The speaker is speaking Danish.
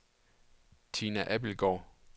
Tina Abildgaard